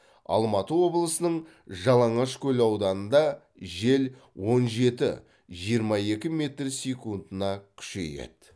алматы облысының жалаңашкөл ауданында жел он жеті жиырма екі метр секундына күшейеді